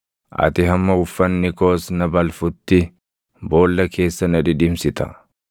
ati hamma uffanni koos na balfutti, boolla keessa na dhidhimsita.